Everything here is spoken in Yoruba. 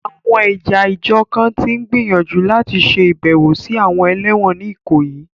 Àwọn ẹ̀yà ìjọ kan tí ń gbìyànjú àti ṣe ìbẹ̀wò sí àwọn ẹlẹ́wọ̀n ní Ikoyi.